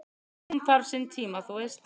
"""Hún þarf sinn tíma, þú veist"""